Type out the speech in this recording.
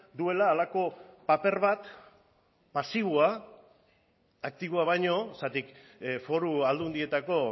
duela halako paper bat pasiboa aktiboa baino zergatik foru aldundietako